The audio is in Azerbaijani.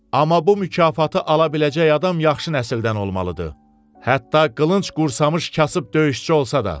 Amma bu mükafatı ala biləcək adam yaxşı nəsildən olmalıdır, hətta qılınc qursamış kasıb döyüşçü olsa da.